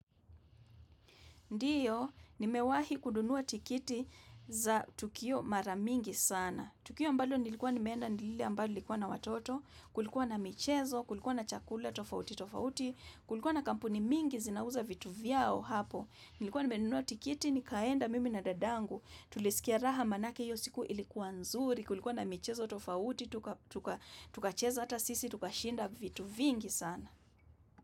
Ndiyo, nimewahi kununua tikiti za tukio maramingi sana. Tukio ambalo nilikuwa nimeenda nilile ambalo ilikuwa na watoto, kulikuwa na michezo, kulikuwa na chakula tofauti, tofauti, kulikuwa na kampuni mingi zinauza vitu vyao hapo. Nilikuwa nimenunua tikiti, nikaenda mimi na dadangu, tulisikia raha manake hiyo siku ilikuwa nzuri, kulikuwa na michezo, tofauti, tukacheza ata sisi, tukashinda vitu vingi sana.